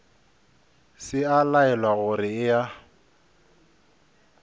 se a laelwa gore eya